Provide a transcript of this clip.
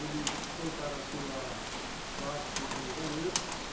Ele foi para a sua quarto, cozinha e banheiro.